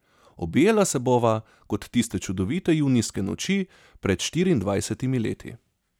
Objela se bova kot tiste čudovite junijske noči pred štiriindvajsetimi leti.